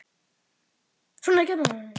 Svona er samkeppnin